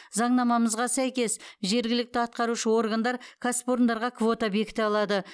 заңнамамызға сәйкес жергілікті атқарушы органдар кәсіпорындарға квота бекіте алады